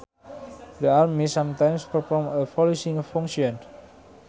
The army sometimes performs a policing function